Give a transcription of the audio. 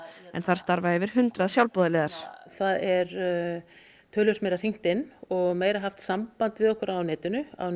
en þar starfa yfir hundrað sjálfboðaliðar það er töluvert meira hringt inn og meira haft samband við okkur á netinu á